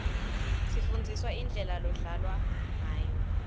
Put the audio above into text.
sifundziswa indlela lodlalwa ngayo